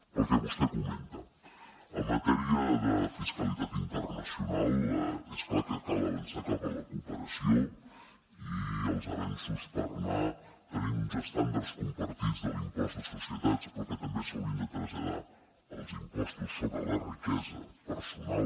pel que vostè comenta en matèria de fiscalitat internacional és clar que cal avançar cap a la cooperació i als avenços per anar tenint uns estàndards compartits de l’impost de societats però que també s’haurien de traslladar els impostos sobre la riquesa personal